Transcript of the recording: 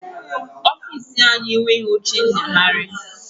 Ọfiisi anyị enweghi oche nyagharị